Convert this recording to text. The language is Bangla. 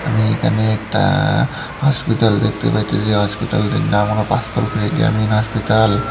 আমি এখানে একটা হসপিতাল দেখতে পাইতেসি যে হসপিটালটির নাম হল গ্রামীণ হসপিতাল ।